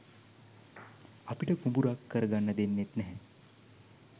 අපිට කුඹුරක් කරගන්න දෙන්නේත් නැහැ